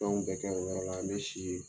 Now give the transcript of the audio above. Fɛn bɛɛ kɛ o yɔrɔ la an bɛ si yen